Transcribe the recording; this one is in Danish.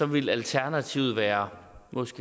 ville alternativet måske være